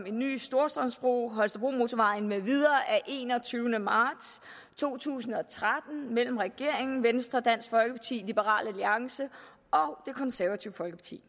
en ny storstrømsbro holstebromotorvejen med videre af enogtyvende marts to tusind og tretten mellem regeringen venstre dansk folkeparti liberal alliance og det konservative folkeparti